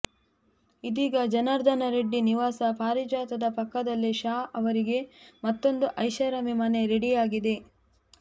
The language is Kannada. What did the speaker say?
ಇದೀಗ ಜನಾರ್ದನ ರೆಡ್ಡಿ ನಿವಾಸ ಪಾರಿಜಾತದ ಪಕ್ಕದಲ್ಲೇ ಶಾ ಅವರಿಗೆ ಮತ್ತೊಂದು ಐಷಾರಾಮಿ ಮನೆ ರೆಡಿಯಾಗಿದೆ